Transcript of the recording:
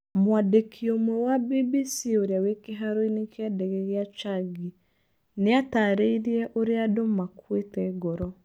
Mwandiki ũmwe wa BBC ũrĩa wĩ kĩharoinĩ kĩa ndege gĩa Changi nĩ aatarĩirie ũrĩa andũ makũĩte ngoro.